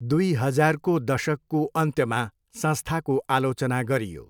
दुई हजारको दशकको अन्त्यमा संस्थाको आलोचना गरियो।